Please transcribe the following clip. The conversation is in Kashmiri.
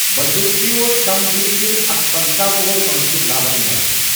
بندوٗقچی اوس كِم ویر گِل ، اكھ پنٕژہ وریہہ وٲنسہِ لاول مرد ۔